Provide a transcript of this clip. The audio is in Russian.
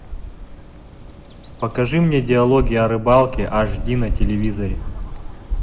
покажи мне диалоги о рыбалке аш ди на телевизоре